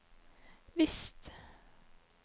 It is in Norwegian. visst